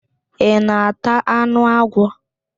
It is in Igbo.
Ị na-ata anụ agwọ?